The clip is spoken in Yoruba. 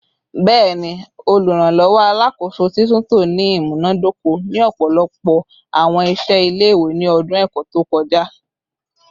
Bẹẹni, Oluranlọwọ Alakoso/titunto ni imunadoko ni ọpọlọpọ awọn iṣẹ ile-iwe ni ọdun ẹkọ to kọja